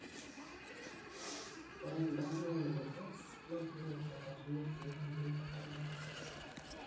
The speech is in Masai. Ore embaata e AS na kingor enkatini olkek oleng o ntemata osesen.